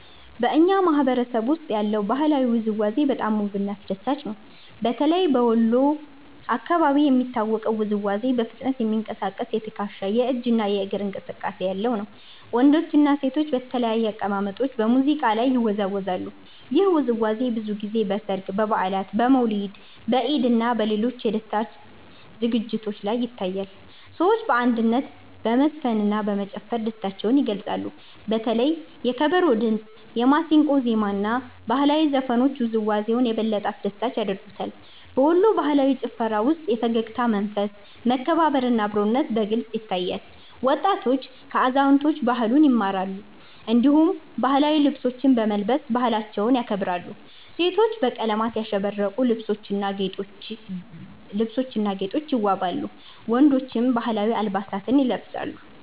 በእኛ ማህበረሰብ ውስጥ ያለው ባህላዊ ውዝዋዜ በጣም ውብና አስደሳች ነው። በተለይ በወሎ አካባቢ የሚታወቀው ውዝዋዜ በፍጥነት የሚንቀሳቀስ የትከሻ፣ የእጅ እና የእግር እንቅስቃሴ ያለው ነው። ወንዶችና ሴቶች በተለያዩ አቀማመጦች በሙዚቃ ላይ ይወዛወዛሉ። ይህ ውዝዋዜ ብዙ ጊዜ በሠርግ፣ በበዓላት፣ በመውሊድ፣ በኢድ እና በሌሎች የደስታ ዝግጅቶች ላይ ይታያል። ሰዎች በአንድነት በመዝፈንና በመጨፈር ደስታቸውን ይገልጻሉ። በተለይ የከበሮ ድምጽ፣ የማሲንቆ ዜማ እና ባህላዊ ዘፈኖች ውዝዋዜውን የበለጠ አስደሳች ያደርጉታል። በወሎ ባህላዊ ጭፈራ ውስጥ የፈገግታ መንፈስ፣ መከባበር እና አብሮነት በግልጽ ይታያል። ወጣቶች ከአዛውንቶች ባህሉን ይማራሉ፣ እንዲሁም ባህላዊ ልብሶችን በመልበስ ባህላቸውን ያከብራሉ። ሴቶች በቀለማት ያሸበረቁ ልብሶችና ጌጦች ይዋበዋሉ፣ ወንዶችም ባህላዊ አለባበስ ይለብሳሉ።